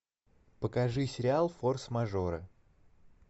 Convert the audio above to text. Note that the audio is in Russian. покажи сериал форс мажоры